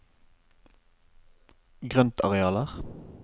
grøntarealer